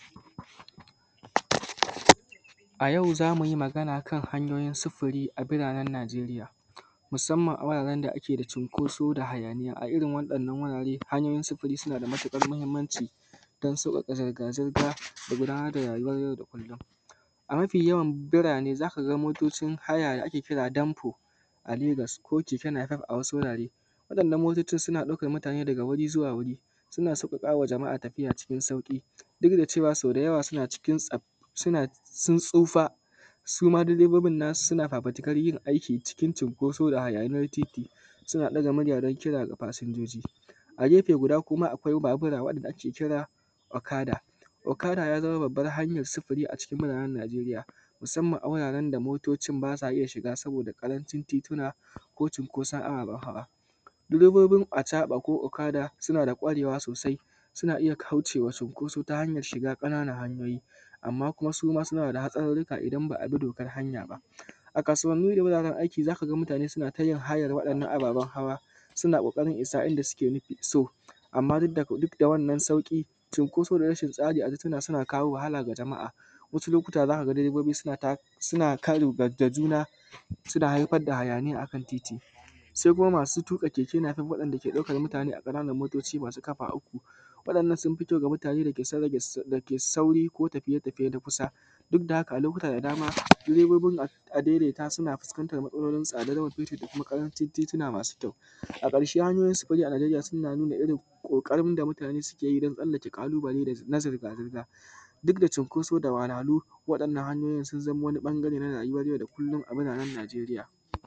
A yau za mu yi magana kan hanyoyin sufuri a biranen Najeriya musanman a wuraren da ake da cunƙosu da hayaniya a irin wannan wuraren hayoyin sufuri suna da matuƙar mahinmanci don sauwaƙa zirga-zirga a rayuwan yau da kullon. A mafi yawan burane za ka ga motocin haya da ake kira danfo a Legas ko kekenafef a wasu wurare, wa’yannan motocin suna ɗaukan mutane daga wuri zuwa wuri, suna sauwaƙa a tafiya cikin sauƙi duk da cewa da yawa sun tsufa suma direoibin nasu suna fafitikan yin aiki cikin cinkoso da hayaniyan titi, suna ɗaga murya don kiran fasinja. A gefe guda kuma akwai babura wanda ake kira okaga, okada ya zama babban hanyan sufuri a biranen Najeriya musanman a wuraren da motocin ba sa iya shiga saboda ƙarancin tituna ko cinkosan ababen hawa, direbobin acaɓa ko okada suna da kwarewa sosai, suna iya kaucewa cinkoso ta hanyan shiga ƙananan hanyoyi amma suma suna da haɗarirrika in ba abi dokan hanya ba, a kasuwan nan da wuraren aiki za ka ga mutane suna hayan wa’yannan ababen hawa suna ƙoƙarin isa inda suke so amma duk da wannan sauƙi, cinkoso da rashin tsari tana kawo wahala wa jama’a. Wasu lokuta za ka ga direbobi suna karo da juna, suna haifar da hayaniya akan titi se kuma masu tuƙa kekenafef wanda suke ɗaukan mutane a ƙananun motoci masu ƙafa uku, wa’yannan sun fi kyau ga mutane dake sauri ko tafiye-tafiye na kusa duk da haka a lokuta da dama direbobin adaidaita suna fuskantan matsalolinsu a lokacin da akwai ƙarancin tituna masu kyau. A ƙarshe hanyoyin sifuri a Najeriya suna nuna masu kyau, a ƙarshe hanyoyin sufuri a Najeriya suna nuna ƙoƙarin da mutane suke yi don tsallake ƙalubale na zirga-zirga duk da cinkoso da waharhalu, wannan hanyoyin sun zama wani ɓangare na rayuwan yau da kullon a biranen Najeriya.